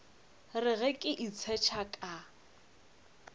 re ge ke itshetšha ka